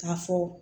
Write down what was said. K'a fɔ